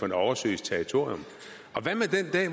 et oversøisk territorium